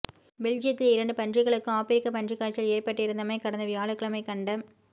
பெல்ஜியத்தில் இரண்டு பன்றிகளுக்கு ஆபிரிக்க பன்றிக் காய்ச்சல் ஏற்பட்டிருந்தமை கடந்த வியாழக்கிழமை கண்ட